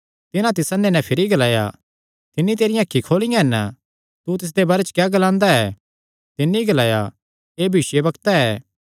तिन्हां तिस अन्ने नैं भिरी ग्लाया तिन्नी तेरियां अखीं खोलियां हन तू तिसदे बारे च क्या ग्लांदा ऐ तिन्नी ग्लाया एह़ भविष्यवक्ता ऐ